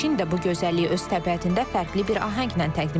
Çin də bu gözəlliyi öz təbiətində fərqli bir ahənglə təqdim edir.